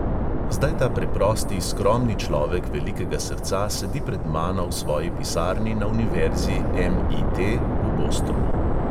Zdaj ta preprosti, skromni človek velikega srca sedi pred mano v svoji pisarni na univerzi MIT v bostonu.